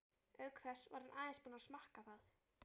Auk þess var hann aðeins búinn að smakka það.